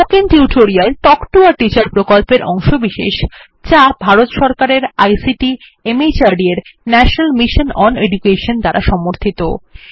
spoken tutorial talk to a teacher প্রকল্পের অংশবিশেষ যা ভারত সরকারের আইসিটি মাহর্দ এর ন্যাশনাল মিশন ওন এডুকেশন দ্বারা সমর্থিত